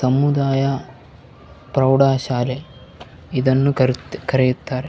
ತಮ್ಮುದಾಯ ಪ್ರೌಡ ಶಾಲೆ ಇದನ್ನು ಕರೆ ಕರೆಯುತ್ತಾರೆ .